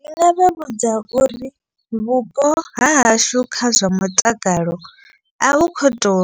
Ndi nga vha vhudza uri vhupo hahashu kha zwa mutakalo a vhu kho to